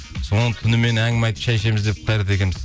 сол түнімен әңгіме айтып шай ішеміз деп қайрат екеуіміз